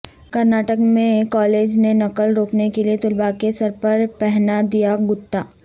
کرناٹک میں کالج نے نقل روکنے کے لئے طلبہ کے سر پر پہنا دیا گتا